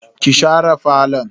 Kin share falo?